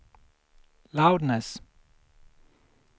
loudness